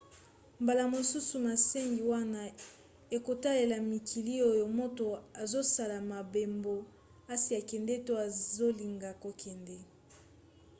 mbala mosusu masengami wana ekotalela mikili oyo moto azosala mobembo asi akende to azolinga kokende